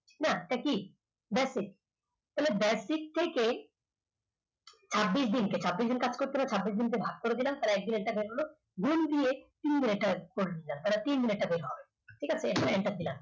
না এটা কি basic তাহলে basic থেকে ছাব্বিশ দিন ছাব্বিশ দিন কাজ করছিল ছাব্বিশ দিন কে ভাগ করে দিলাম গুন দিয়ে তিন enter করছি তিন, ঠিক আছে enter দিলাম